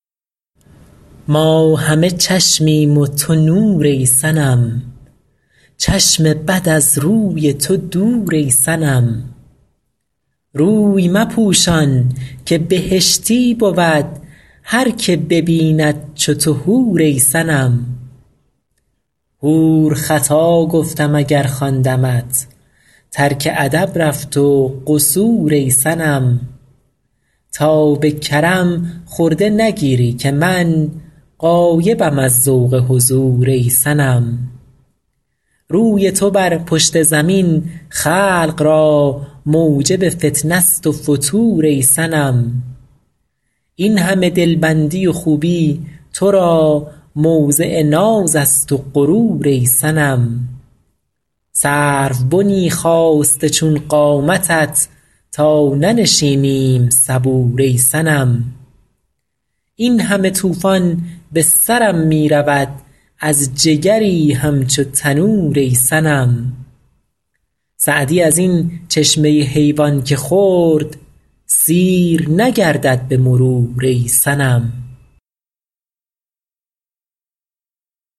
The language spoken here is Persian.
ما همه چشمیم و تو نور ای صنم چشم بد از روی تو دور ای صنم روی مپوشان که بهشتی بود هر که ببیند چو تو حور ای صنم حور خطا گفتم اگر خواندمت ترک ادب رفت و قصور ای صنم تا به کرم خرده نگیری که من غایبم از ذوق حضور ای صنم روی تو بر پشت زمین خلق را موجب فتنه ست و فتور ای صنم این همه دلبندی و خوبی تو را موضع ناز است و غرور ای صنم سروبنی خاسته چون قامتت تا ننشینیم صبور ای صنم این همه طوفان به سرم می رود از جگری همچو تنور ای صنم سعدی از این چشمه حیوان که خورد سیر نگردد به مرور ای صنم